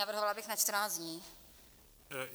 Navrhovala bych na 14 dní.